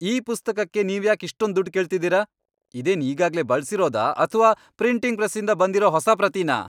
ಈ ಪುಸ್ತಕಕ್ಕೆ ನೀವ್ಯಾಕ್ ಇಷ್ಟೊಂದ್ ದುಡ್ಡ್ ಕೇಳ್ತಿದೀರ? ಇದೇನ್ ಈಗಾಗ್ಲೇ ಬಳ್ಸಿರೋದಾ ಅಥ್ವಾ ಪ್ರಿಂಟಿಂಗ್ ಪ್ರೆಸ್ಸಿಂದ ಬಂದಿರೋ ಹೊಸ ಪ್ರತಿನಾ?